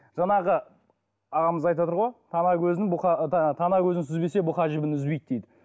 жаңағы ағамыз айтыватыр ғой тана көзін сүзбесе бұқа жібін үзбейді дейді